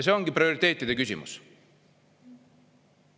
See ongi prioriteetide küsimus.